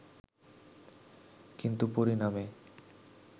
কিন্তু পরিণামে